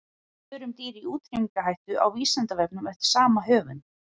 Svör um dýr í útrýmingarhættu á Vísindavefnum eftir sama höfund.